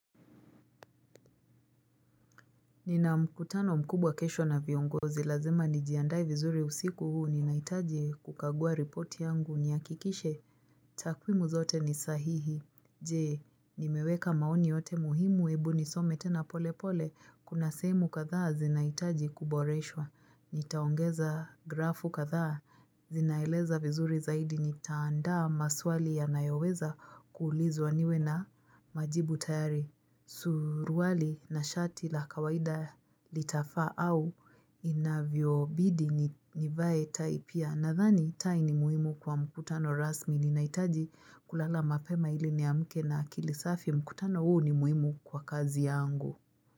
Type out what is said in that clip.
Nina mkutano mkubwa kesho na viongozi, lazima nijiandae vizuri usiku huu, ninahitaji kukagua repoti yangu, nihakikishe, takwimu zote ni sahihi. Jee, nimeweka maoni yote muhimu, ebu nisome tena pole pole, kuna sehemu kadhaa zinahitaji kuboreshwa, nitaongeza grafu kadhaa, zinaeleza vizuri zaidi, nitaandaa maswali yanayoweza kuulizwa niwe na majibu tayari. Suruali na shati la kawaida litafaa au inavyobidi nivae tai pia Nadhani tai ni muhimu kwa mkutano rasmi Ninaitaji kulala mapema ili niamke na akili safi mkutano huu ni muhimu kwa kazi yangu.